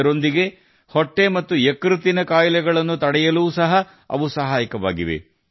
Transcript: ಅದರೊಂದಿಗೆ ಹೊಟ್ಟೆ ಮತ್ತು ಯಕೃತ್ತಿನ ಕಾಯಿಲೆಗಳನ್ನು ತಡೆಯಲು ಸಹ ಅವು ಸಹಾಯಕವಾಗಿವೆ